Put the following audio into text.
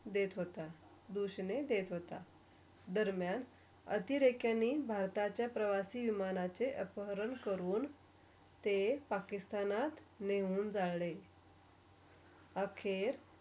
देत होता, घोषणे देत होता. दरमियन अतिरेखाणी भारताच्या प्रवासी विमानचे अपहरण करून. ते पाकिस्तानात नेहून जाळले आखेत.